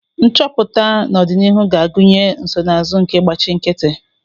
Nchọpụta n'ọdịnihu ga-agụnye nsonaazụ nke ịgbachi nkịtị